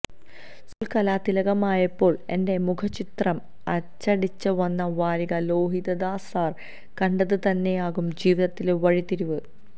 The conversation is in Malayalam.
സ്കൂള് കലാതിലകമായപ്പോള് എന്റെ മുഖചിത്രം അച്ചടിച്ച് വന്ന വാരിക ലോഹിതദാസ് സാര് കണ്ടത് തന്നെയാകും ജീവിതത്തിലെ വഴിത്തിരിവ്